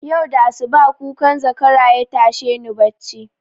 Yau da asuba kukan zakara yatashe ni bacci